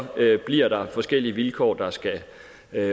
bliver forskellige vilkår der skal